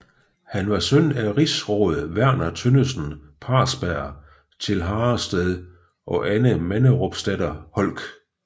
Han var søn af rigsråd Verner Tønnesen Parsberg til Harrested og Anne Manderupsdatter Holck